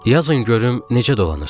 Yazın görüm necə dolanırsız.